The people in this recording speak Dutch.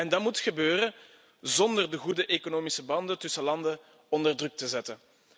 En dat moet gebeuren zonder de goede economische banden tussen landen onder druk te zetten.